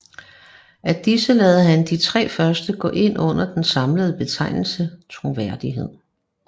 Af disse lader han de tre første gå ind under den samlede betegnelse troværdighed